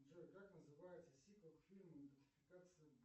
джой как называется сиквел к фильму идентификация